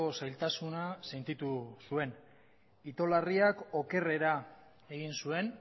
zailtasuna sentitu zuen itolarriak okerrera egin zuen